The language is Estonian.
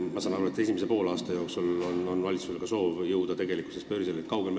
Ma saan aru, et esimese poolaasta jooksul soovib valitsus tegelikkuses börsile jõuda.